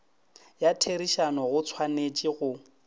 ya therišano go tshwanetše go